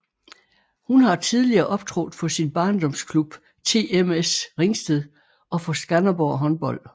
Hun har tidligere optrådt for sin barndomsklub TMS Ringsted og for Skanderborg Håndbold